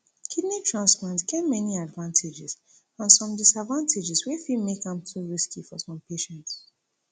kidney transplant get many advantages and some disadvantages wey fit make am too risky for some patients